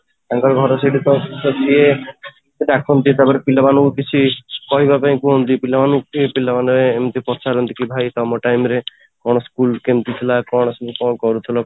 ତାଙ୍କ ଘର ସେଇଠି ତ, ତ ସିଏ ଡାକନ୍ତି ତାପରେ ପିଲା ମାନଙ୍କୁ କିଛି କହିବା ପାଇଁ କୁହନ୍ତି ପିଲା ମାନେ ବି ପିଲା ମାନେ ଏମିତ ପଚାରନ୍ତି କି ତମ time school ଟା କେମିତି ଥିଲା ? କ'ଣ ସବୁ କେମିତି କରୁଥିଲ ?